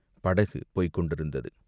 படகு போய்க் கொண்டிருந்தது.